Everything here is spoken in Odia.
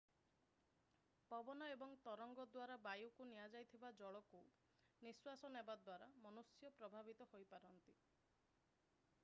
ପବନ ଏବଂ ତରଙ୍ଗ ଦ୍ଵାରା ବାୟୁକୁ ନିଆଯାଇଥିବା ଜଳକୁ ନିଶ୍ଵାସ ନେବା ଦ୍ଵାରା ମନୁଷ୍ୟ ପ୍ରଭାବିତ ହୋଇପାରନ୍ତି